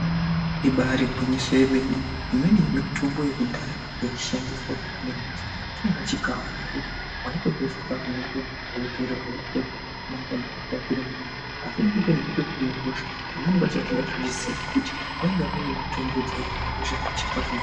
Ibari gwinyiso remene imweni mitombo yekudhaya yaishandiswa kuhina hosha change chikafu zvekuti waitodya chikafu chakanaka cheitotapira asi unenge uchitobatsirika vamweni vacho avatozvizivi ngekuti munenge vachitohina hosha.